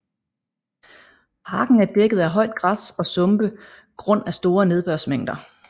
Parken er dækket af højt græs og sumpe grund af store nedbørsmængder